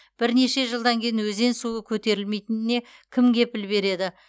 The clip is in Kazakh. бірнеше жылдан кейін өзен суы көтерілмейтініне кім кепіл береді